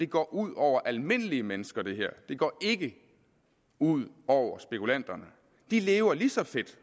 går ud over almindelige mennesker det går ikke ud over spekulanterne de lever lige så fedt